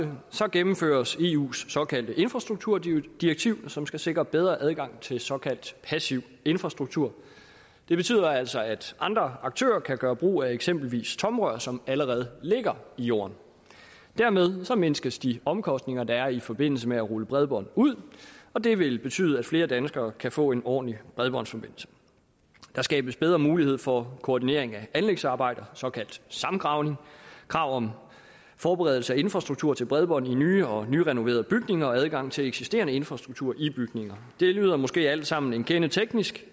gennemføres eus såkaldte infrastrukturdirektiv som skal sikre bedre adgang til såkaldt passiv infrastruktur det betyder altså at andre aktører kan gøre brug af eksempelvis tomrør som allerede ligger i jorden dermed mindskes de omkostninger der er i forbindelse med at rulle bredbånd ud og det vil betyde at flere danskere kan få en ordentlig bredbåndsforbindelse der skabes bedre mulighed for koordinering af anlægsarbejder såkaldt samgravning krav om forberedelse af infrastruktur til bredbånd i nye og nyrenoverede bygninger og adgang til eksisterende infrastruktur i bygninger det lyder måske alt sammen en kende teknisk